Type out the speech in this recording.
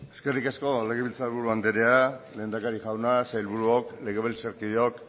eskerrik asko legebiltzarburu andrea lehendakari jauna sailburuok legebiltzarkideok